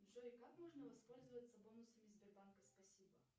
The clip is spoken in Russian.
джой как можно воспользоваться бонусами сбербанка спасибо